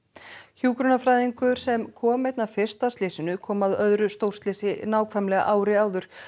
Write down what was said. hjúkrunarfræðingur sem kom einna fyrst að slysinu kom að öðru stórslysi nákvæmlega ári áður